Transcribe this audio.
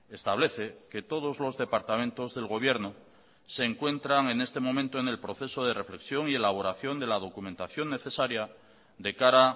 establece que todos los departamentos del gobierno se encuentran en este momento en el proceso de reflexión y elaboración de la documentación necesaria de cara